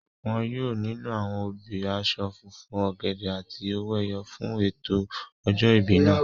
Wọn yóò nílò àwọn obì, aṣọ funfun, ọ̀gẹ̀dẹ̀ àti owó ẹyọ fún ètò ọjọ́ ìbí náà